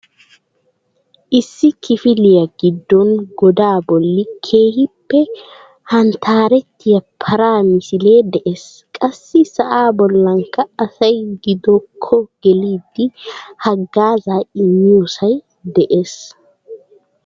Issi kifiliyaa giddon goda bolli keehippe hanttarettiya para misilee de'ees. Qassi sa'a bollankka asay giddokko gelidi haggaazza immiyoosay de'ees .